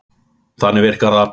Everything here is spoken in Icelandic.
Þannig virkar það.